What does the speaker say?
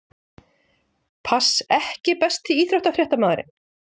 Pass EKKI besti íþróttafréttamaðurinn?